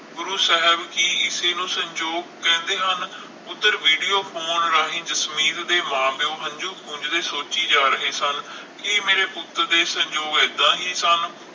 ਗੁਰੂ ਸਾਹਿਬ ਕਿ ਇਸੇ ਨੂੰ ਸੰਯੋਗ ਕਹਿੰਦੇ ਹਨ। ਓਧਰ ਵੀਡੀਓ ਪਾਉਣ ਰਾਹੀਂ ਜਸਮੀਤ ਦੇ ਮਾਂ ਪਿਓ ਹੰਜੂ ਪੂੰਝਦੇ ਸੋਚੀ ਜਾਣ ਕਿ ਮੇਰੇ ਪੁੱਤ ਦੇ ਸੰਯੋਗ ਏਦਾਂ ਹੀ ਸਨ।